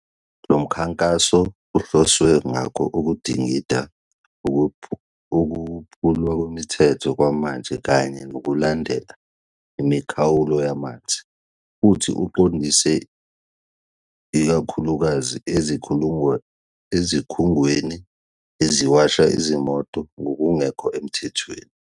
Lo mkhankaso kuhloswe ngawo ukudingida ukuphulwa kwemithetho kwamanje kanye nokulandela imikhawulo yamanzi, futhi uqondiswe ikakhulukazi ezikhungweni eziwasha izimoto ngokungekho emthethweni.